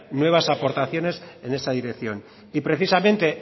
nuevas aportaciones en esa dirección y precisamente